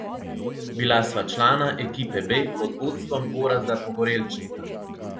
Bila sva člana ekipe B pod vodstvom Gorazda Pogorelčnika.